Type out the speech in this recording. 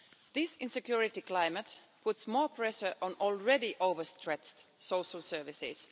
This insecurity climate puts more pressure on already overstretched social services.